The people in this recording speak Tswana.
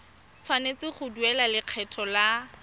tshwanetse go duela lekgetho la